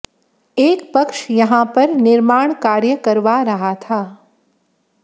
एक पक्ष यहां पर निर्माण कार्य करवा रहा था